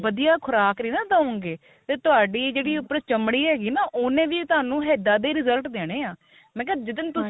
ਵਧੀਆਂ ਖੁਰਾਕ ਨੀ ਨਾ ਦਉਗੇ ਫੇਰ ਤੁਹਾਡੀ ਜਿਹੜੀ ਉਪਰੋ ਚਮੜੀ ਹੈਗੀ ਨਾ ਉਹਨੇ ਵੀ ਤੁਹਾਨੂੰ ਇਹਦਾ ਦੇ result ਦੇਣੇ ਆ ਮੈਂ ਕਿਹਾ ਜਿਸ ਦਿਨ